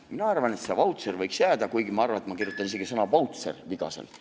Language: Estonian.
Minu arvates see vautšer võiks jääda, kuigi ma arvan, et ma ise kirjutaksin isegi sõna "vautšer" vigaselt.